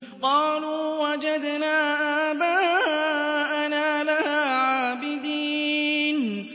قَالُوا وَجَدْنَا آبَاءَنَا لَهَا عَابِدِينَ